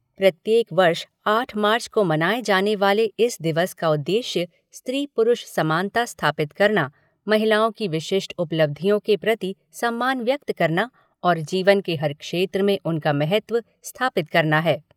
प्रत्येक वर्ष आठ मार्च को मनाए जाने वाले इस दिवस का उद्देश्य स्त्री पुरुष समानता स्थापित करना, महिलाओं की विशिष्ट उपलब्धियों के प्रति सम्मान व्यक्त करना और जीवन के हर क्षेत्र में उनका महत्व स्थापित करना है।